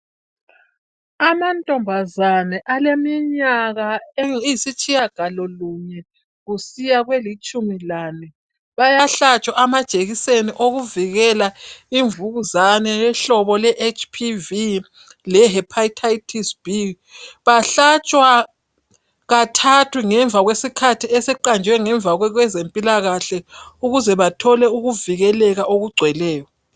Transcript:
Amantombazane aleminyaka eyisitshiya galolunye kusiya kwelitshumi lane bayahlatshwa amajekiseni okuvikela imvukuzane yohlobo lweHPV leHepatitis B. Bahlatshwa kathathu ngemva kwesikhathi esiqanjwe ngezempilakahle ukuze bathole ukuvikeleka okugcweleyo.